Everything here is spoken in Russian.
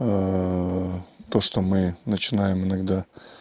то что мы начинаем иногда